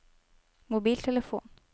mobiltelefon